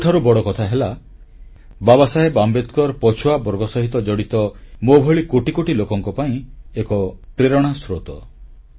ସବୁଠାରୁ ବଡ଼କଥା ହେଲା ବାବାସାହେବ ଆମ୍ବେଦକର ପଛୁଆବର୍ଗ ସହିତ ଜଡ଼ିତ ମୋଭଳି କୋଟି କୋଟି ଲୋକଙ୍କ ପାଇଁ ଏକ ପ୍ରେରଣା ସ୍ରୋତ